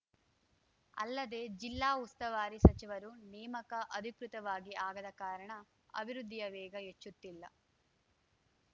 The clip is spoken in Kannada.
ಅಲ್ಲದೆ ಜಿಲ್ಲಾ ಉಸ್ತುವಾರಿ ಸಚಿವರು ನೇಮಕ ಅಧಿಕೃತವಾಗಿ ಆಗದ ಕಾರಣ ಅಭಿವೃದ್ಧಿಯ ವೇಗ ಹೆಚ್ಚುತ್ತಿಲ್ಲ